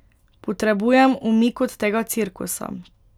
Potrebujem umik od tega cirkusa.